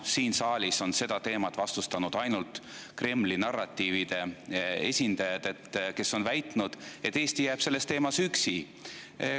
Siin saalis on seda teemat vastustanud ainult Kremli narratiivide esindajad, kes on väitnud, et Eesti jääb selles teemas üksi.